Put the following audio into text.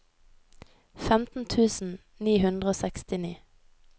femten tusen ni hundre og sekstini